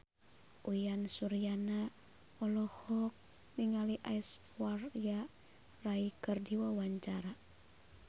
Uyan Suryana olohok ningali Aishwarya Rai keur diwawancara